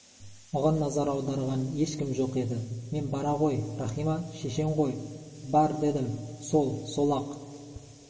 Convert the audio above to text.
оған назар аударған ешкім жоқ еді мен бара ғой рахима шешең ғой бар дедім сол сол-ақ